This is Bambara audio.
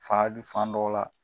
Fa i bi fan dɔw la.